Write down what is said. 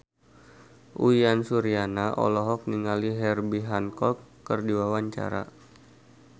Uyan Suryana olohok ningali Herbie Hancock keur diwawancara